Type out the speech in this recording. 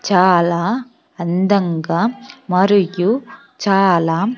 చాలా అందంగా మరియు చాలా.